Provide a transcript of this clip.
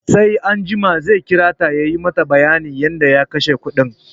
Sai anjima zai kirata ya mata bayanin yadda ya kashe kuɗin